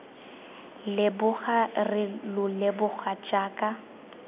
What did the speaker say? leboga re lo leboga jaaka